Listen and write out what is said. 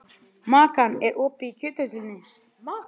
Makan, er opið í Kjöthöllinni?